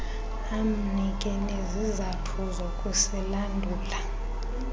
amnike nezizathu zokusilandula